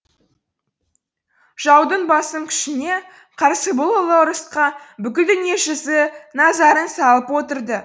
жаудың басым күшіне қарсы бұл ұлы ұрысқа бүкіл дүниежүзі назарын салып отырды